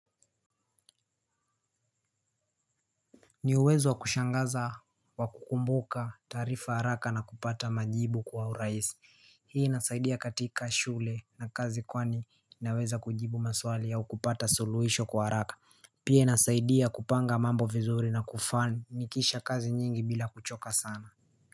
Ni uwezo kushangaza wa kukumbuka taarifa haraka na kupata majibu kwa urahisi. Hii inasaidia katika shule na kazi kwani naweza kujibu maswali au kupata suluhisho kwa haraka. Pia inasaidia kupanga mambo vizuri na kufanikisha kazi nyingi bila kuchoka sana.